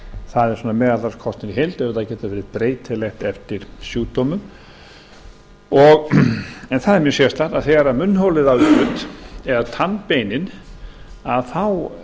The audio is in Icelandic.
það er svona meðaltalskostnaður í heild en það getur verið breytilegt eftir sjúkdómum en það er mjög sérstakt að þegar að munnholið á í hlut eða tannbeinin að þá